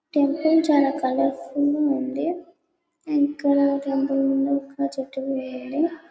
temple చాలా colourful గ ఉంది ఇక్కడ చెట్టు కూడా ఉంది